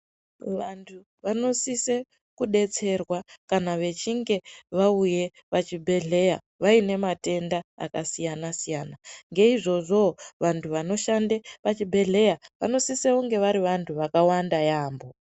Vantu vanosise kudetserwa kana vechinge vauye pachibhedhleya vaine matenda akasiyana siyana naizvizvowo vantu vanoshande pachibhedhleya vanosise kunge vari vantu vakawanda yaampo.